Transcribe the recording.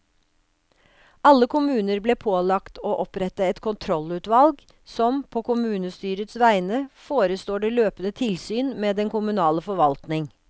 Alle kommuner ble pålagt å opprette et kontrollutvalg som, på kommunestyrets vegne, forestår det løpende tilsyn med den kommunale forvaltning.